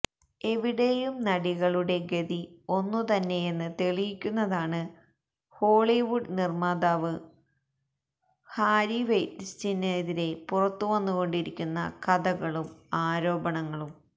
എവിടെയും നടികളുടെ ഗതി ഒന്നു തന്നെയെന്ന് തെളിയിക്കുന്നതാണ് ഹോളിവുഡ് നിര്മാതാവ് ഹാര്വി വെയ്ന്സ്റ്റീനെതിരെ പുറത്തുവന്നുകൊണ്ടിരിക്കുന്ന കഥകളും ആരോപണങ്ങളും